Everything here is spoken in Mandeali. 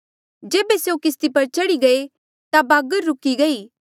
जेबे स्यों किस्ती पर चढ़ी गये ता बागर रुकी गई